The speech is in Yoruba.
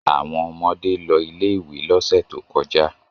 Àwọn ọmọdé lọ ilé-ìwé lọ́sẹ̀ tó kọjá.